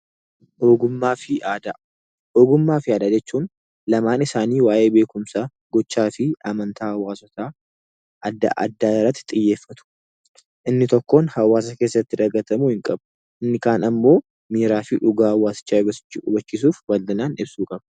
Ogummaafi Aadaa: ogummaafi aadaa jechuun, lamaan isaani waa'ee beekumsa, gochaafi amantaa hawaasota adda addaa irraatti xiyyeeffatu. Inni tokkoon hawaasa keessatti dagaatamuu hn qabu. Inni Kaanapali ammoo miiraafi dhugaa hawaasicha hubbachisuf balinaan ibsuu qaba.